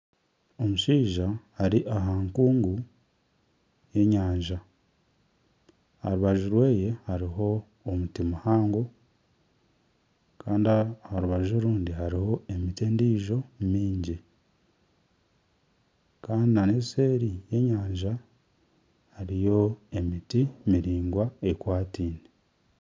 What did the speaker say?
Omushaija ari aha nkungu y'enyanja aha rubaju rweye hariho omuri muhango kandi aha rubaju orundi hariho emiti endiijo mingi kandi nana eseeri y'enyanja hariyo emiti miraingwa ekwatiine